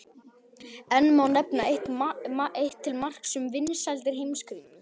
Enn má nefna eitt til marks um vinsældir Heimskringlu.